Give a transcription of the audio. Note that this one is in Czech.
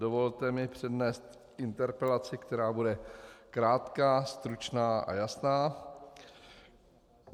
Dovolte mi přednést interpelaci, která bude krátká, stručná a jasná.